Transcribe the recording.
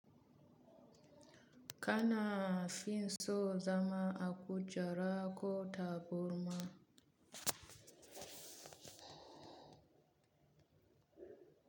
Kana fin so zama a kujara ko taburma?